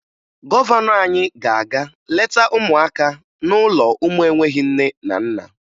Gọvanọ anyị ga-aga leta ụmụaka n'ụlọ ụmụ enweghi nne na nna